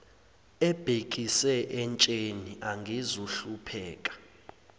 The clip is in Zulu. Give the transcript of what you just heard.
ebhekise entsheni angizuhlupheka